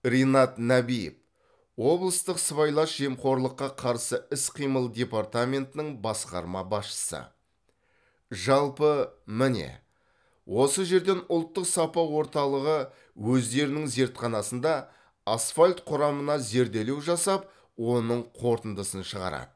ринат нәбиев облыстық сыбайлас жемқорлыққа қарсы іс қимыл департаментінің басқарма басшысы жалпы міне осы жерден ұлттық сапа орталығы өздерінің зертханасында асфальт құрамына зерделеу жасап оның қорытындысын шығарады